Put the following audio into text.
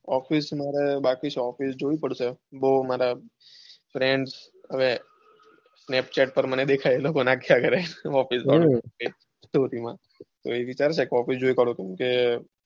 office બાકી છે મારે office જોવી પડશે બૌ મારે friends ને snapchat પર દેખાય કરે હમ office તો પછી કરશે કે.